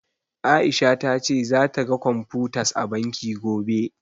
A'isha ta ce zata ga computers a banki, gobe.